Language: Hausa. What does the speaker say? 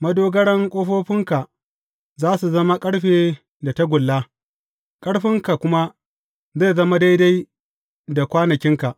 Madogaran ƙofofinka za su zama ƙarfe da tagulla, ƙarfinka kuma zai zama daidai da kwanakinka.